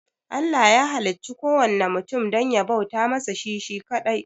Allah ya halicci kuwanna mutum dan ya bauta masa shi shi kaɗai